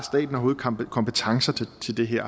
kompetencer til det her